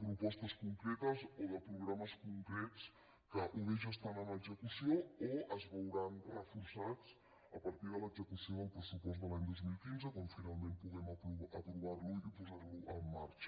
propostes concretes o de programes concrets que o bé ja estan en execució o bé es veuran reforçats a partir de l’execució del pressupost de l’any dos mil quinze quan finalment puguem aprovarlo i posarlo en marxa